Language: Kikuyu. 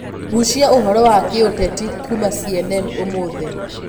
gucia ũhoro wa giuteti kũma c.n.n ũmũthĩ